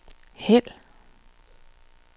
hæld